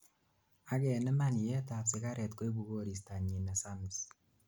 ak eniman yeet ab sigaret koibu koristanyin nesamis